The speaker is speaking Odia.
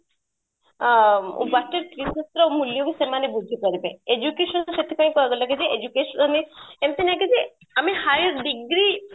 ଅ water resource ର ମୂଲ୍ୟ କୁ ସେମାନେ ବୁଝି ପାରିବେ, education ର ସେଥି ପାଇଁ କୁହା ଗଲା କି education ମାନେ ଏମିତି ନାହିଁ କି ଆମେ higher degree